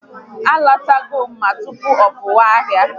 A lọtago m tupu ọ pụọ ahịa